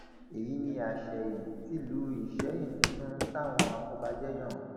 èyí ni àsẹyìn tìlú ìsẹyìn tuntun táwọn afọbajẹ yàn